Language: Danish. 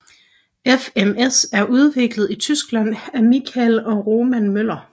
FMS er udviklet i Tyskland af Michael og Roman Möller